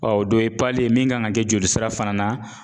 o dɔ ye ye min kan ŋa kɛ joli sira fana na